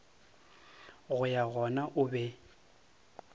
go ya gona o be